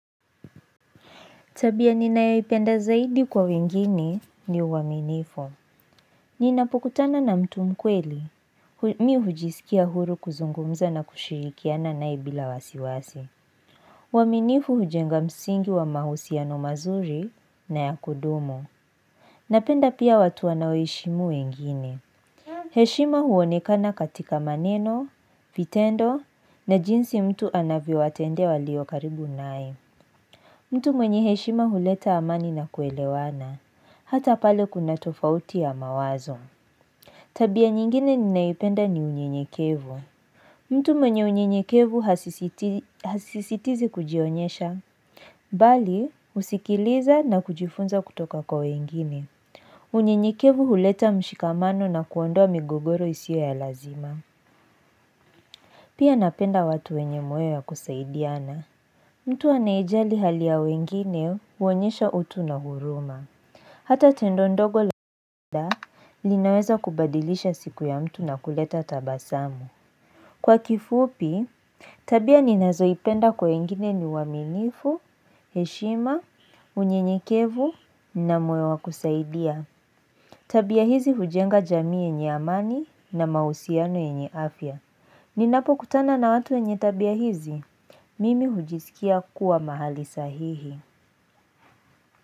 Tabia ninayoipenda zaidi kwa wengine ni uwaminifu. Ninapokutana na mtu mkweli. Mi hujisikia huru kuzungumza na kushirikiana naye bila wasiwasi. Uwaminifu hujenga msingi wa mahusiano mazuri na ya kudumo. Napenda pia watu wanao heshimu wengine. Heshima huonekana katika maneno, vitendo na jinsi mtu anavyo watendea walio karibu nae. Mtu mwenye heshima huleta amani na kuelewana. Hata pale kuna tofauti ya mawazo Tabia nyingine ninayoipenda ni unyenyekevu mtu mwenye unyenyekevu hasisitizi kujionyesha Bali husikiliza na kujifunza kutoka kwa wengimi unyenyekevu huleta mshikamano na kuondoa migogoro isio ya lazima Pia napenda watu wenye moyo ya kusaidiana mtu anaye jali hali ya wengine huonyesha utu na huruma Hata tendo ndogo labda linaweza kubadilisha siku ya mtu na kuleta tabasamu. Kwa kifupi, tabia ninazoipenda kwa wengine ni uaminifu, heshima, unyenyekevu na moyo wa kusaidia. Tabia hizi hujenga jamii yenye amani na mausiano enyiafia. Ninapo kutana na watu wenye tabia hizi, mimi hujisikia kuwa mahali sahihi.